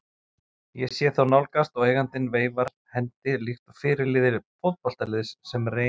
Ég sé þá nálgast og eigandinn veifar hendi líkt og fyrirliði fótboltaliðs sem reyn